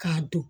K'a don